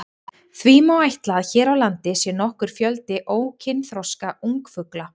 Því má ætla að hér á landi sé nokkur fjöldi ókynþroska ungfugla.